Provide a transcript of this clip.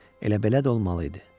Elə belə də olmalı idi.